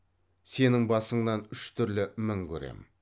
сенің басыңнан үш түрлі мін көремін